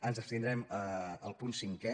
ens abstindrem al punt cinquè